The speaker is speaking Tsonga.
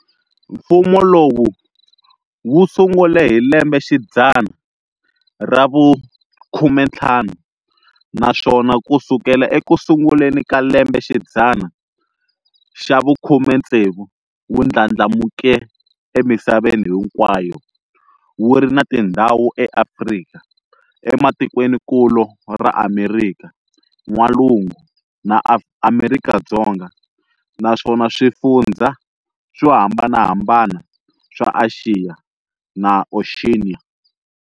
Mfumo lowu wu sungule hi lembexidzana ra vu-15, naswona ku sukela eku sunguleni ka lembexidzana xa vu-16 wu ndlandlamuke emisaveni hinkwayo, wu ri na tindhawu eAfrika, e matikweninkulu ra Amerika N'walungu, na Amerika Dzonga, na swifundzha swo hambanahambana swa Axiya na Oceania.